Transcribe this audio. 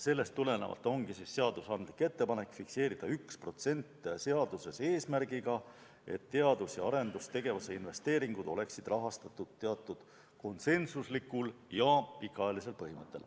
Sellest tulenevalt ongi seadusandlik ettepanek fikseerida seaduses 1% eesmärgiga, et teadus- ja arendustegevuse investeeringud oleksid rahastatud teatud konsensuslikul ja pikaajalisel põhimõttel.